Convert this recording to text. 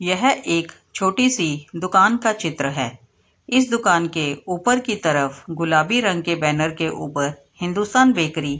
यह एक छोटी सी दुकान का चित्र है इस दुकान के ऊपर के तरफ गुलाबी रंग के बैनर के ऊपर हिंदुस्तान बैकरी --